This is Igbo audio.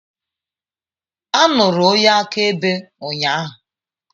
A nụrụ onye akaebe ụnyaahụ.